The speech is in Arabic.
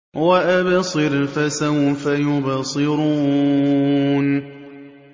وَأَبْصِرْ فَسَوْفَ يُبْصِرُونَ